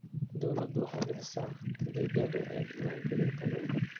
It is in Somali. Dawladdu waxay bixisaa adeegyada diiwaangelinta dhulka.